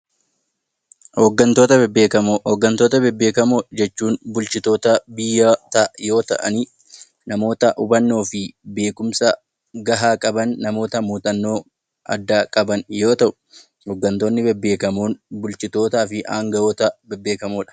Oggattoota bebbeekamo, oggantoota bebbeekamo jechuun bulchitoota biyya yoo ta'aan, namoota hubannoo fi beekumsa ga'aa qaban, namoota muxannoo addaa qaban yoo ta'u, oggantoonni bebbeekamoon bulchitootaa fi hanga'oota bebbeekamoodha.